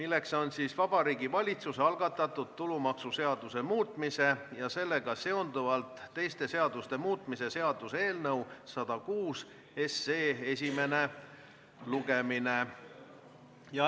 See on Vabariigi Valitsuse algatatud tulumaksuseaduse muutmise ja sellega seonduvalt teiste seaduste muutmise seaduse eelnõu 106 esimene lugemine.